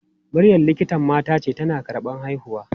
Maryam likitan mata ce, tana karɓan haihuwa.